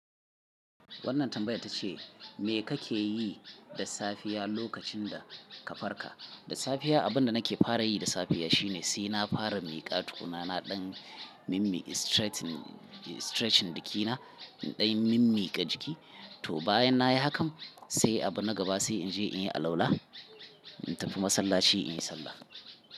Wannan tambayar ta ce, me kake yi da safiya lokacin da ka farka? Da safiya abin da nake fara yi da safiya shine sai na fara miƙa tukuna na ɗan mimmike stretching, stretching jikina ɗan mimmiƙa jiki. To bayan na yi hakan sai a gaba sai in je in yi alwala, in tafi masallaci in yi sallah.